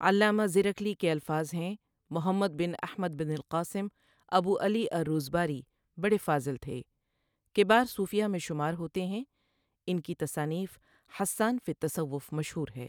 علامہ زرکلی کے الفاظ ہیں محمد بن أحمد بن القاسم، أبو علي الروذباري بڑے فاضل تھے کبار صوفیہ میں شمار ہوتے ہیں ان کی تصانیف حسان فی التصوف مشہور ہے۔